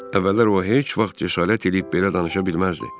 Əvvəllər o heç vaxt cəsarət eləyib belə danışa bilməzdi.